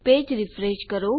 page refresh કરો